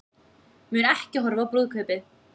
Mun ekki horfa á brúðkaupið